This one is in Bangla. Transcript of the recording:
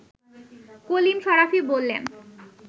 কলিম শরাফী বললেন